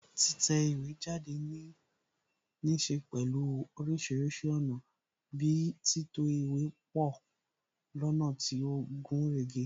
Títẹ̀ ìwé jáde níse pẹ̀lú orísìírísìí ọ̀nà bi títò ìwé pọ lọ́nà tí ó gúnrégé